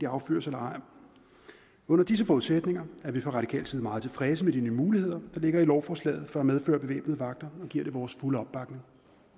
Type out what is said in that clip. affyret eller ej under disse forudsætninger er vi fra radikal side meget tilfredse med de nye muligheder der ligger i lovforslaget for at medføre bevæbnede vagter og giver det vores fulde opbakning